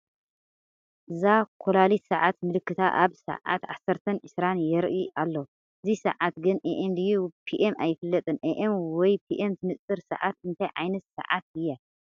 እዛ ኮላሊት ሰዓት ምልክታ ኣብ ሰዓት ዓሰርተን ዕስራን የርኢ ኣሎ፡፡ እዚ ሰዓት ግን Am ድዩስ Pm ኣይፍለጥን፡፡ Am ወይ Pm ትንፅር ሰዓት እንታይ ዓይነት ሰዓት እያ?